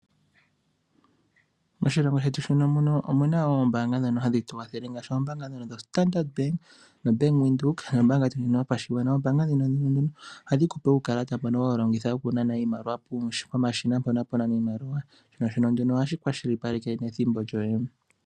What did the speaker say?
Moshilongo shetu omu na wo oombaanga ndhono hadhi tu kwathele, ngaashi ombaanga dhono dhoStandart Bank, noBank Windhoek nombaanga ndjono yopashigwana. Oombaanga ndhono ohadhi tu pe uukalata mbono hatu longitha okunana iimaliwa pomashina mpono hapu nanwa iimaliwa shono hashi kwashilipaleke wo ethimbo.